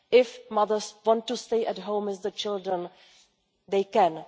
If mothers want to stay at home with the children, they can.